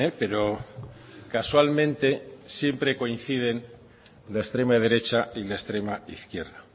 pero casualmente siempre coinciden la extrema derecha y la extrema izquierda